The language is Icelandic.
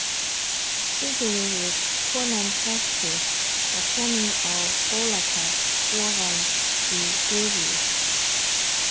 Sigríður kona prestsins var komin á bólakaf ofan í gryfju.